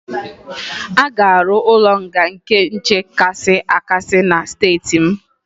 A ga-arụ ụlọ nga nke nche kasị akasị na steeti m